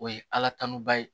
O ye ala tanu ba ye